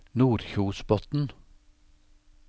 Nordkjosbotn